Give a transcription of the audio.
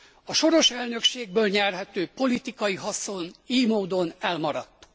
A soros elnökségből nyerhető politikai haszon ily módon elmaradt.